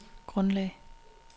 grundlag